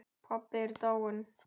Pabbi er dáinn